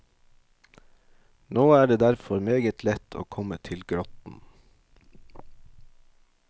Nå er det derfor meget lett å komme til grotten.